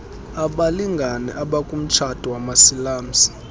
abalngane abakumtshato wamasilamsi